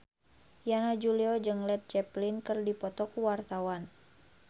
Yana Julio jeung Led Zeppelin keur dipoto ku wartawan